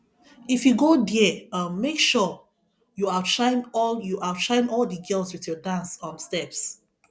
if you go there um make sure you outshine all you outshine all the girls with your dance um steps